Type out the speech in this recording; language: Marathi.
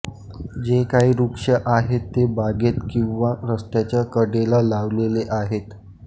जे काही वृक्ष आहेत ते बागेत किंवा रस्त्याच्या कडेला लावलेले आहेत